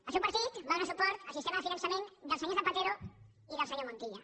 el seu partit va donar suport al sistema de finançament del senyor zapatero i del senyor montilla